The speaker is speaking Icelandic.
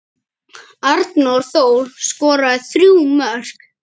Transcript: Arnór Þór skoraði þrjú mörk.